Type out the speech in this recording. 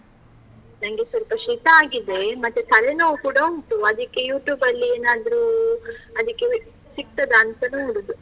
ನನ್ಗೆ ಸ್ವಲ್ಪ ಶೀತ ಆಗಿದೆ ಮತ್ತೆ ತಲೆನೋವು ಕೂಡ ಉಂಟು. ಅದಿಕ್ಕೆ YouTube ಅಲ್ಲಿ ಏನಾದ್ರೂ ಅದಿಕ್ಕೆ ಸಿಕ್ತದಾ ಅಂತ ನೋಡುದು.